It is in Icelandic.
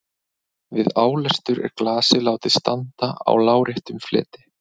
Við álestur er glasið látið standa á láréttum fleti.